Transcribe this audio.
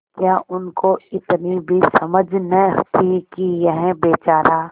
क्या उनको इतनी भी समझ न थी कि यह बेचारा